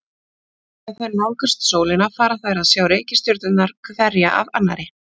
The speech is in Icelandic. Þegar þær nálgast sólina fara þær að sjá reikistjörnurnar hverja af annarri.